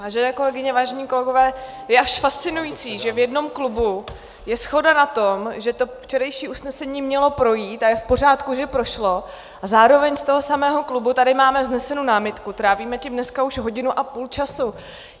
Vážené kolegyně, vážení kolegové, je až fascinující, že v jednom klubu je shoda na tom, že to včerejší usnesení mělo projít a je v pořádku, že prošlo, a zároveň z toho samého klubu tady máme vznesenu námitku, trávíme tím dneska už hodinu a půl času.